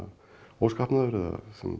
óskapnaður eða